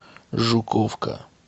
жуковка